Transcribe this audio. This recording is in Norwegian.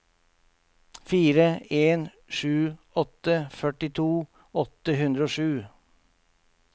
fire en sju åtte førtito åtte hundre og sju